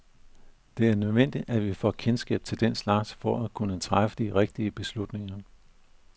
Det er nødvendigt, at vi får kendskab til den slags for at kunne træffe de rigtige beslutninger.